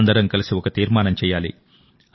అందరం కలిసి ఒక తీర్మానం చేయాలి